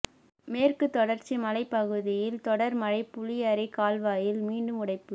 மேற்கு தொடர்ச்சி மலைப்பகுதியில் தொடர் மழை புளியரை கால்வாயில் மீண்டும் உடைப்பு